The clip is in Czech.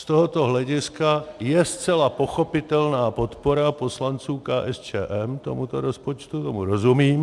Z tohoto hlediska je zcela pochopitelná podpora poslanců KSČM tomuto rozpočtu, tomu rozumím.